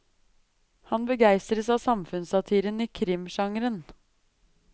Han begeistres av samfunnssatiren i krimgenren.